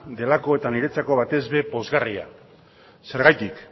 delako eta batez be niretzat pozgarria zergatik